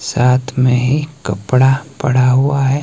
साथ में ही कपड़ा पड़ा हुआ है।